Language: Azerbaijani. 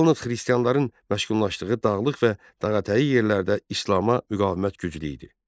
Yalnız xristianların məşğul olduğu dağlıq və dağətəyi yerlərdə İslama müqavimət güclü idi.